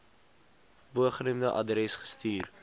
bogenoemde adres gestuur